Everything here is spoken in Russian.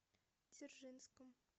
дзержинском